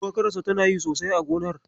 Shuwakarsa tana yi sosai a gonar.